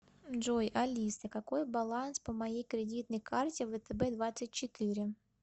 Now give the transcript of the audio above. джой алиса какой баланс по моей кредитной карте втб двадцать четыре